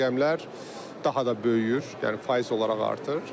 Bu rəqəmlər daha da böyüyür, yəni faiz olaraq artır.